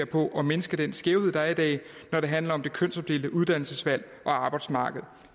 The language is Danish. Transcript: på at mindske den skævhed der er i dag når det handler om det kønsopdelte uddannelsesvalg og arbejdsmarked